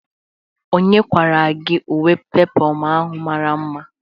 Onye kwara gị uwe peplum ahụ mara mma?